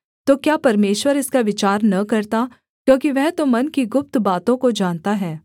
तो क्या परमेश्वर इसका विचार न करता क्योंकि वह तो मन की गुप्त बातों को जानता है